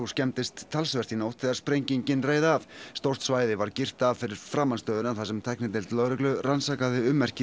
skemmdist talsvert í nótt þegar sprengingin reið af stórt svæði var girt af fyrir framan stöðina þar sem tæknideild lögreglu rannsakaði ummerki